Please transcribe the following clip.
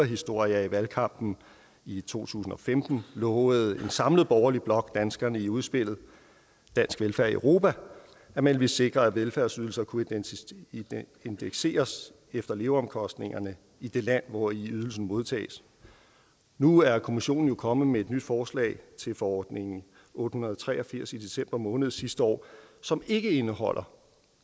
historie at i valgkampen i to tusind og femten lovede en samlet borgerlig blok danskerne i udspillet dansk velfærd i europa at man ville sikre at velfærdsydelser kunne indekseres efter leveomkostningerne i det land hvori ydelsen modtages nu er kommissionen jo kommet med et nyt forslag til forordning otte hundrede og tre og firs i december måned sidste år som ikke indeholder